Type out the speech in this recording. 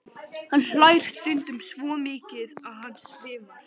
Hann hlær stundum svo mikið að hann svimar.